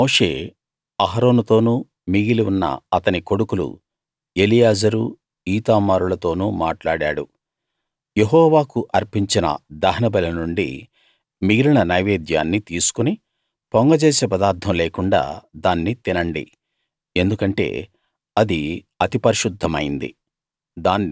అప్పుడు మోషే అహరోనుతోనూ మిగిలి ఉన్న అతని కొడుకులు ఎలియాజరు ఈతామారులతోనూ మాట్లాడాడు యెహోవాకు అర్పించిన దహనబలి నుండి మిగిలిన నైవేద్యాన్ని తీసుకుని పొంగజేసే పదార్ధం లేకుండా దాన్ని తినండి ఎందుకంటే అది అతి పరిశుద్ధమైంది